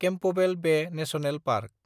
Campbell Bay National park